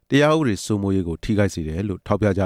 တရားဥပဒေစိုးမိုးရေးကို ထိခိုက်စေတယ် လို့ ထောက်ပြက